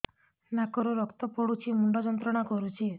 ନାକ ରୁ ରକ୍ତ ପଡ଼ୁଛି ମୁଣ୍ଡ ଯନ୍ତ୍ରଣା କରୁଛି